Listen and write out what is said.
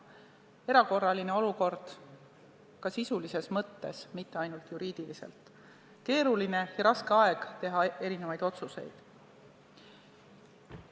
See on erakorraline olukord ka sisulises mõttes, mitte ainult juriidiliselt – keeruline ja raske aeg teha erinevaid otsuseid.